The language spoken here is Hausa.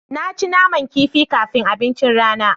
Na ci naman kifi kafin abincin rana.